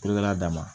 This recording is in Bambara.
Kolokɛla dama